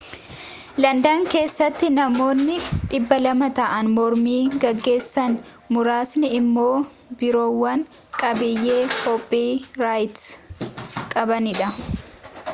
landan keessattinammoonni 200 ta'an mormii geggeessan muraasni immoo biirowwan qabiyyee kooppi raayit qabanidha